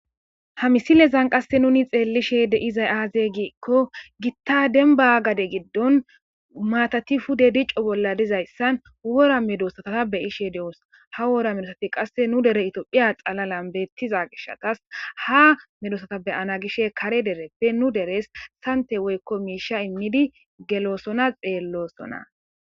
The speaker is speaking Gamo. Ha misilezan qasse nuni xeellishe deizay aaze giikko gitta denba gade giddon maatati fude dico bolla dizayssan wora medosatata beyishe de'os ha wora medosati qasse nu dere itoophiya xalalan beettiza gishatas ha medosata beyana gishe kare dereppe nu deres sante woykko miisha immidi geloosona xeellosona.